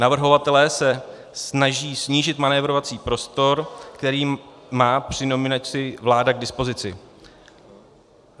Navrhovatelé se snaží snížit manévrovací prostor, který má při nominaci vláda k dispozici.